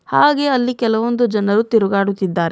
ಹಾಗೆಯೇ ಅಲ್ಲಿ ಕೆಲವೊಂದು ಜನರು ತಿರುಗಾಡುತ್ತಿದ್ದಾರೆ.